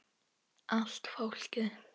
Allt fólkið.